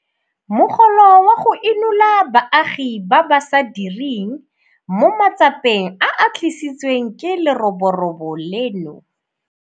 Mogolo wa go Inola Baagi ba ba sa Direng mo Matsapeng a a Tlisitsweng ke Leroborobo leno.